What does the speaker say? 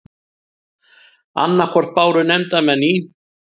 Annað hvort báru nefndarmenn í